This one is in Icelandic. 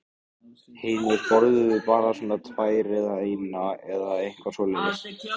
Hinir borðuðu bara svona tvær eða eina eða eitthvað svoleiðis.